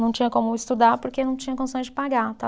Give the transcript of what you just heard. Não tinha como estudar porque não tinha condições de pagar